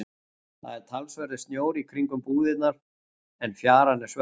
Það er talsverður snjór í kringum búðirnar en fjaran er svört.